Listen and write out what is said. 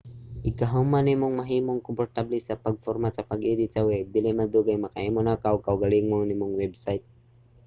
igka human nimong mahimong komportable sa pag-format ug pag-edit sa web dili madugay makahimo naka og kaugalingon nimong website